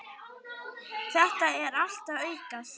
Þetta er allt að aukast.